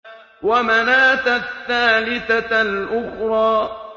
وَمَنَاةَ الثَّالِثَةَ الْأُخْرَىٰ